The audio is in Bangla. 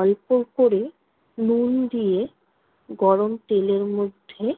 অল্প করে নুন দিয়ে গরম তেলের মধ্যে